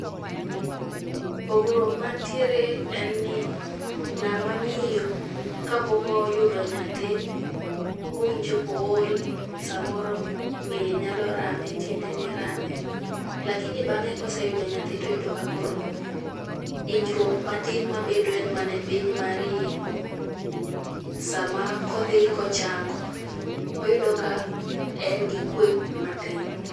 Pogruok mantiere en ni ng'ama miyo kapok oyudo nyathi, owinjo ka ool, samoro ng'eye nyalo rame, tiendene rame. lakini bang'e koseyudo nyathi to oyudo ka koro hinyruok matin mabedo en mana e piny mar iye sama kodhi kochango oyudo ka en gi kwe matin.